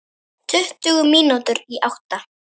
Tuttugu mínútur í átta.